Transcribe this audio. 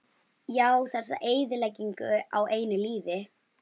Já, þessa eyðileggingu á einu lífi.